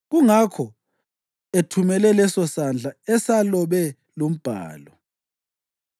Kungakho ethumele lesosandla esalobe lumbhalo.